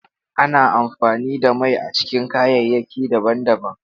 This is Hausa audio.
Ana amfani da mai a cikin kayayyaki daban-daban.